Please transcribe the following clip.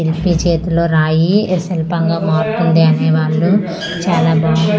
ఇది చేతిలో రాయి ఇది శిల్పంగా మారుతుంది అనే వాళ్ళు చాలా బాగు--